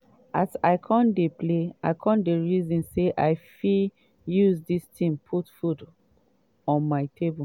evri time dem go carry me go play football so from dia dem kon teach me how to play.